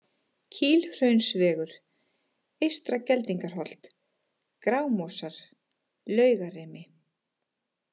Kílhraunsvegur, Eystra-Geldingarholt, Grámosar, Laugarimi